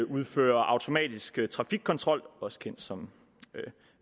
udfører automatisk trafikkontrol også kendt som